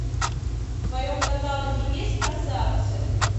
в твоем каталоге есть красавцы